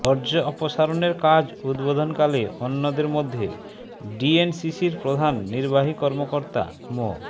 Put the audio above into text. বর্জ্য অপসারণের কাজ উদ্বোধনকালে অন্যদের মধ্যে ডিএনসিসির প্রধান নির্বাহী কর্মকর্তা মো